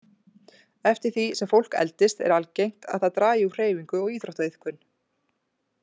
Eftir því sem fólk eldist er algengt að það dragi úr hreyfingu og íþróttaiðkun.